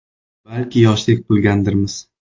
Balki yoshlik qilgandirmiz.